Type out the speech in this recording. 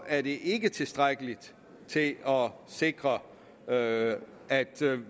er det ikke tilstrækkeligt til at sikre at at